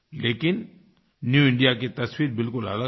लेकिन new India की तस्वीर बिलकुल अलग है